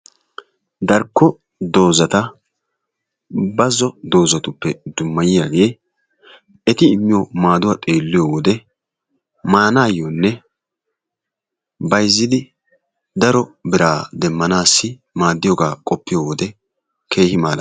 Darkko dozata bazzo dozatuppe dummayiyagee eti immiyo maaduwa xeelliyo wode maanaayyoonne bayizzidi daro biraa demmanaassi maaddiyogaa qoppiyo wode keehi malaales.